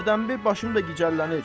Hərdəmbir başım da gicəllənir.